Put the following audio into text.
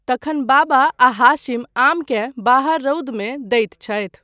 तखन बाबा आ हाशिम आमकेँ बाहर रौदमे दैत छथि।